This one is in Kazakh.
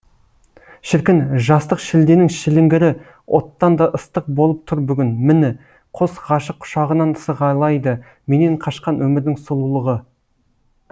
шіркін жастық шілденің шіліңгірі оттан да ыстық болып тұр бүгін міні қос ғашық құшағынан сығалайды менен қашқан өмірдің сұлулығы